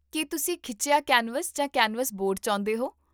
ਕੀ ਤੁਸੀਂ ਖਿੱਚਿਆ ਕੈਨਵਸ ਜਾਂ ਕੈਨਵਸ ਬੋਰਡ ਚਾਹੁੰਦੇ ਹੋ?